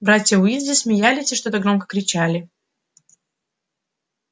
братья уизли смеялись и что-то громко кричали